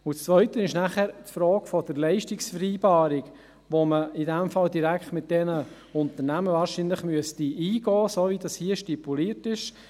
Das Zweite ist die Frage der Leistungsvereinbarung, welche man in diesem Fall, wie es hier stipuliert ist, wahrscheinlich direkt mit den Unternehmen eingehen müsste.